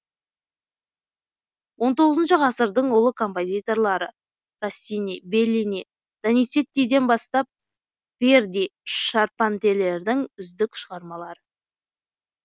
он тоғызыншы ғасырдың ұлы композиторлары россини беллини доницеттиден бастап верди шарпантьелердің үздік шығармалары